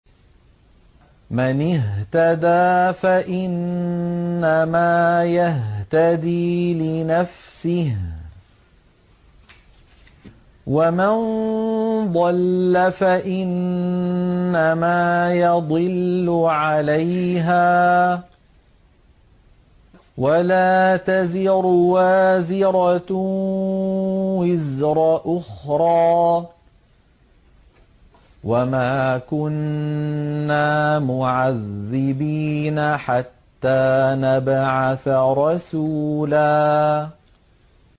مَّنِ اهْتَدَىٰ فَإِنَّمَا يَهْتَدِي لِنَفْسِهِ ۖ وَمَن ضَلَّ فَإِنَّمَا يَضِلُّ عَلَيْهَا ۚ وَلَا تَزِرُ وَازِرَةٌ وِزْرَ أُخْرَىٰ ۗ وَمَا كُنَّا مُعَذِّبِينَ حَتَّىٰ نَبْعَثَ رَسُولًا